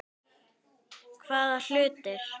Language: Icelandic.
Hvaða hlutir?